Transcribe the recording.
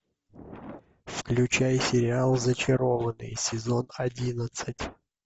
включай сериал зачарованные сезон одиннадцать